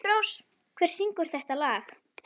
En bar aldrei á góma að þú gæfir þig fram?